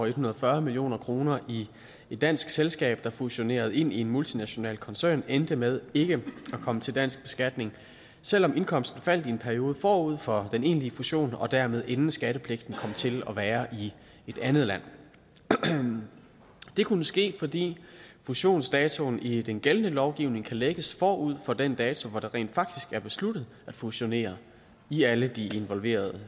en hundrede og fyrre million kroner i et dansk selskab der fusionerede ind i en multinational koncern endte med ikke at komme til dansk beskatning selv om indkomsten faldt i en periode forud for den egentlige fusion og dermed inden skattepligten kom til at være i et andet land det kunne ske fordi fusionsdatoen i den gældende lovgivning kan lægges forud for den dato hvor det rent faktisk er besluttet at fusionere i alle de involverede